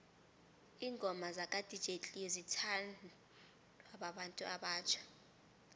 ingoma zaka dj cleo zithanwa babantu abatjha